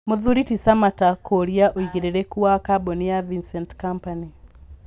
Mũthuri ti Samatta kũũria ũigĩrĩrĩku wa kambũni ya Vincent Company